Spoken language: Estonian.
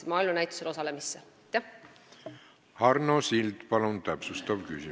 Arno Sild, palun täpsustav küsimus!